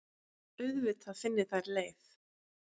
Auðvitað finni þær leið.